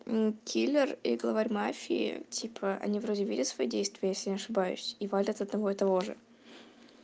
киллер и главарь мафии типа они вроде видят свои действия если не ошибаюсь и валят одного и того же